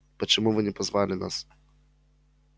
почему вы не позвали нас